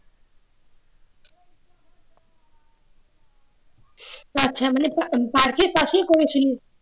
আচ্ছা মানে park এর কাছেই করেছিলি